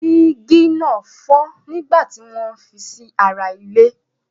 Jígí náà fọ́ nígbà tí wọ́n ń fi sí ara ile.